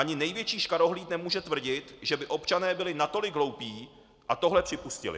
Ani největší škarohlíd nemůže tvrdit, že by občané byli natolik hloupí a tohle připustili.